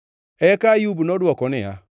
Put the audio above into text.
Eka Ayub nodwoko niya,